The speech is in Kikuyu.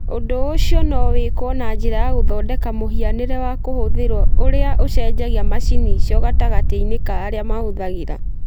Ũndũ ũcio no wĩkwo na njĩra ya gũthondeka mũhianĩre wa kũhũthĩrũo ũrĩa ũcenjagia macini icio gatagatĩ-inĩ ka arĩa arĩa mahũthagĩra